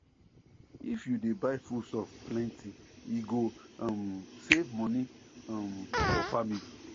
if you dey buy foodstuffs plenty e go um save money um for family